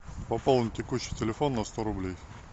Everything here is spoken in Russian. пополнить текущий телефон на сто рублей